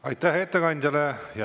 Aitäh ettekandjale!